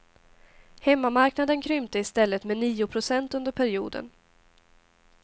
Hemmamarknaden krympte i stället med nio procent under perioden.